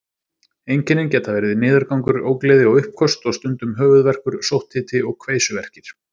Einkennin geta verið niðurgangur, ógleði og uppköst og stundum höfuðverkur, sótthiti og kveisuverkir.